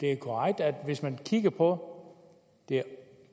er korrekt at hvis man kigger på det